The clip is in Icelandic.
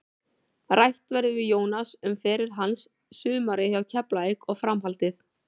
Rætt verður við Jónas um feril hans, sumarið hjá Keflavík og framhaldið.